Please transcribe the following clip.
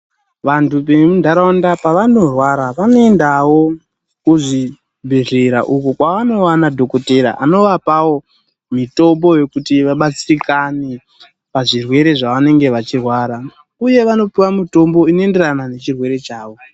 Vantu vemuntaraunda pavanorwara vanoendawo kuzvibhehlera uko kwavanowana dhokotera anovapawo mitombo yekuti vabatsirikane pazvirwere zvavanenge vachirwara uye vanopiwa mitombo inoenderana nechirwere chavo.